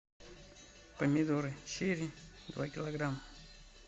помидоры черри два килограмма